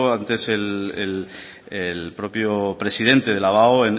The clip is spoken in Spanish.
antes el propio presidente de la abao